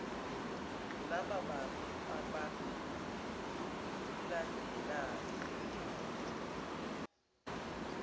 laba bantu abalandelayo